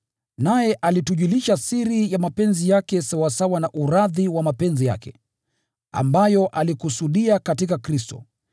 Naye alitujulisha siri ya mapenzi yake sawasawa na uradhi wa mapenzi yake, ambayo alikusudia katika Kristo,